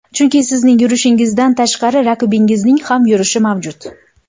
Chunki sizning yurishingizdan tashqari raqibingizning ham yurishi mavjud.